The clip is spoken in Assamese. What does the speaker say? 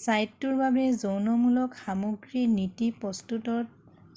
ছাইটৰ বাবে যৌনমূলক সামগ্ৰীৰ নীতি প্ৰস্তুতৰ